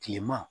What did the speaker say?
Kilema